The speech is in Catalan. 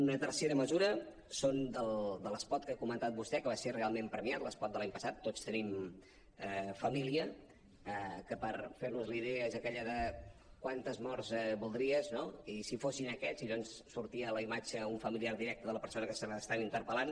una tercera mesura són de l’espot que ha comentat vostè que va ser realment premiat l’espot de l’any passat tots tenim família que per fer nos la idea és aquell de quantes morts voldries no i si fossin aquests i llavors sortia la imatge d’un familiar directe de la persona que estan interpel·lant